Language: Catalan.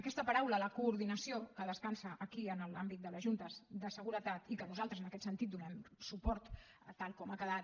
aquesta paraula la coordinació que descansa aquí en l’àmbit de les juntes de seguretat i que nosaltres en aquest sentit hi donem suport tal com ha quedat